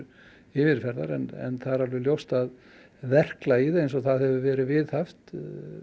yfirferðar en það er alveg ljóst að verklagið eins og það hefur verið viðhaft